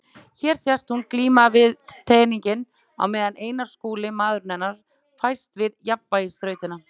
Hér sést hún glíma við teninginn á meðan Einar Skúli, maður hennar, fæst við jafnvægisþrautina.